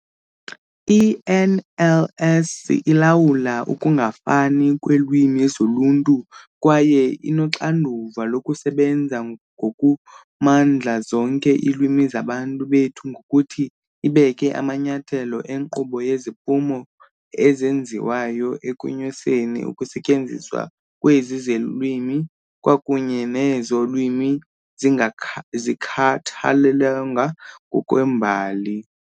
I-NLS ilawula ukungafani kweelwimi zoluntu kwaye inoxanduva lokusebenza ngokumandla zonke iilwimi zabantu bethu ngokuthi ibeke amanyathelo enkqubo yeziphumo ezenziwayo ekunyuseni ukusetyenziswa kwezi lwimi, kwakunye nezo lwimi zingakhathalelwanga ngokwembali.